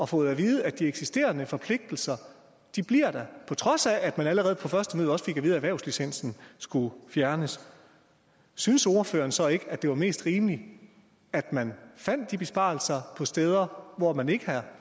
fået at vide at de eksisterende forpligtelser bliver der på trods af at man allerede på første møde også fik at vide at erhvervslicensen skulle fjernes synes ordføreren så ikke at det var mest rimeligt at man fandt de besparelser på steder hvor man ikke er